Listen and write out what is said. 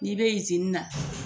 N'i be na.